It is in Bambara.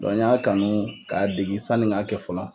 n y'a kanu k'a degi sanni n k'a kɛ fɔlɔ.